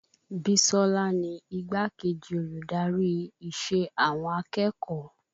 Bisola ni igbá-kejì olùdarí ìṣe àwọn akẹ́kọ̀ọ́